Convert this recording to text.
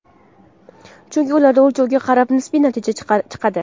Chunki ularda o‘lchovga qarab nisbiy natija chiqadi.